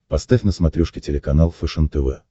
поставь на смотрешке телеканал фэшен тв